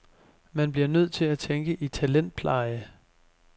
Man bliver nødt til at tænke i talentpleje.